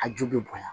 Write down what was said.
A ju bɛ bonya